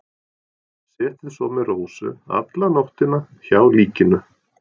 Setið svo með Rósu alla nóttina hjá líkinu.